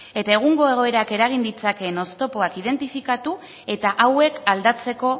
eta egungo egoerak eragin ditzakeen oztopoak identifikatu eta hauek aldatzeko